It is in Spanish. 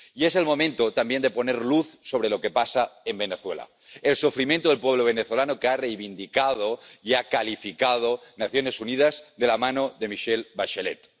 Y es el momento también de poner luz sobre lo que pasa en Venezuela el sufrimiento del pueblo venezolano, que han reivindicado y han calificado las Naciones Unidas de la mano de Michelle Bachelet